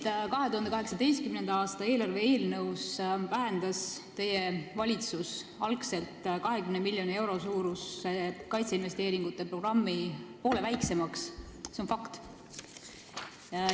See, et 2018. aasta eelarve eelnõus vähendas teie valitsus algselt 20 miljoni euro suuruse kaitseinvesteeringute programmi poole väiksemaks, on fakt.